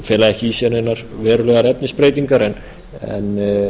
fela ekki í sér neinar verulegar efnisbreytingar en